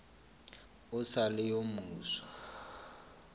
o sa le yo mofsa